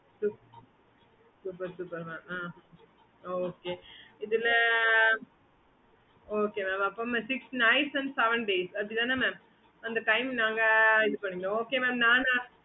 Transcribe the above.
okay mam